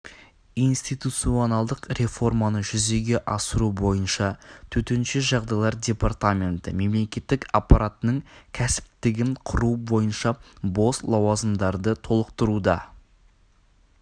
институционалдық реформаны жүзеге асыру бойынша төтенше жағдайлар департаменті мемлекеттік аппаратының кәсіптігін құру бойынша бос лауазымдарды толықтыруда